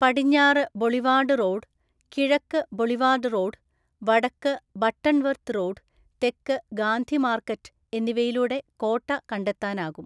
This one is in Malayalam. പടിഞ്ഞാറ് ബൊളിവാർഡ് റോഡ്, കിഴക്ക് ബൊളിവാർഡ് റോഡ്, വടക്ക് ബട്ടർ വർത്ത് റോഡ്, തെക്ക് ഗാന്ധി മാർക്കറ്റ് എന്നിവയിലൂടെ കോട്ട കണ്ടെത്താനാകും.